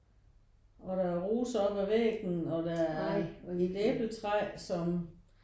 Og der roser op ad væggen og der er et æbletræ som